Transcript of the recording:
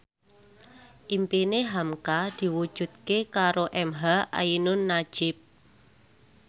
impine hamka diwujudke karo emha ainun nadjib